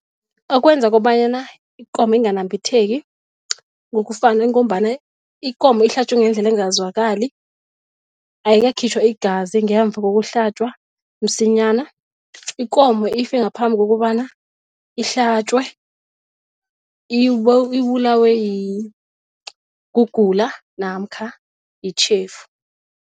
Okwenza kobanyana ikomo inganabambitheki ngokufana ingombana ikomo ihlatjwe ngendlela engazwakali, ayikakhitjhwa igazi ngemva kokuhlatjwa msinyana. Ikomo ife ngaphambi kokobana ihlatjwe ibulawe kugula namkha yitjhefu.